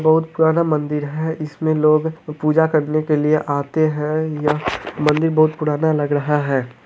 बहुत पुराना मंन्दिर है इसमें लोग पूजा करने के लिए आते है यह मंदिर बहुत पुराना लग रहा है।